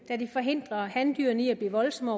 da det forhindrer handyrene i at blive voldsomme